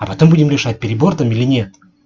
а потом будем решать перебор там или нет